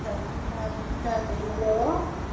ਸਾਸਰੀਕਾਲ ਕੀ ਕਰਦੇ hello